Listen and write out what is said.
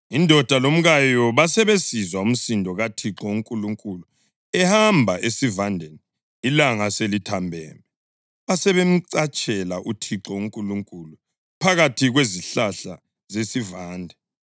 Indoda lomkayo basebesizwa umsindo kaThixo uNkulunkulu ehamba esivandeni ilanga selithambeme, basebemcatshela uThixo uNkulunkulu phakathi kwezihlahla zesivande.